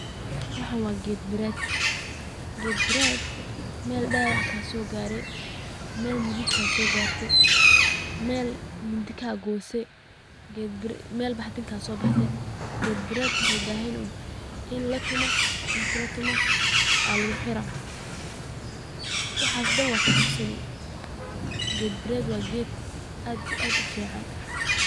Waxan wa geed murad oo meel dawac kasogare meel murub kasogare meel mindi kagose meel baxdin kasobaxde ged murad wuxu ubahanyehe uun ini latumo aa luguxira waxas daan wa kabogsani ged murad wa ged aad ufican.